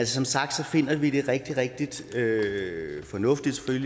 som sagt finder vi det rigtig rigtig fornuftigt